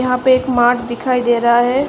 यहाँ पे एक माठ‌ दिखाई दे रहा है।